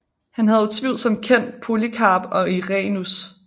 Han havde utvivlsomt kendt Polykarp og Irenæus